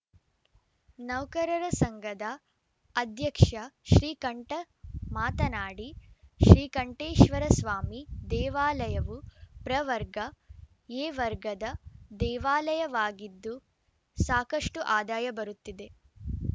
ನೌಕರರ ಸಂಘದ ಅಧ್ಯಕ್ಷ ಶ್ರೀಕಂಠ ಮಾತನಾಡಿ ಶ್ರೀಕಂಠೇಶ್ವರಸ್ವಾಮಿ ದೇವಾಲಯವು ಪ್ರವರ್ಗ ಎ ವರ್ಗದ ದೇವಾಲಯವಾಗಿದ್ದು ಸಾಕಷ್ಟುಆದಾಯ ಬರುತ್ತಿದೆ